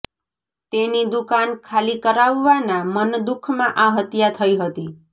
તેની દુકાન ખાલી કરાવવાના મનદુઃખમાં આ હત્યા થઇ હતી